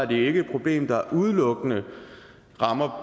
det ikke et problem der udelukkende rammer